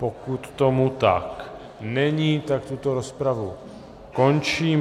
Pokud tom tak není, tak tuto rozpravu končím.